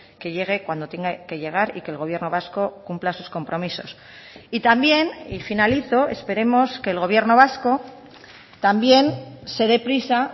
que llegue cuando tenga que llegar y que el gobierno vasco cumpla sus compromisos y también y finalizo esperemos que el gobierno vasco también se de prisa